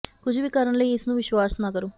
ਕੁਝ ਵੀ ਕਰਨ ਲਈ ਇਸ ਨੂੰ ਵਿਸ਼ਵਾਸ ਨਾ ਕਰੋ